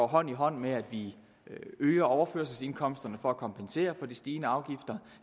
hånd i hånd med at vi vil øge overførselsindkomsterne for at kompensere for de stigende afgifter